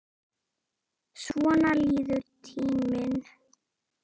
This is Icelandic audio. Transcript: Svona líður tíminn.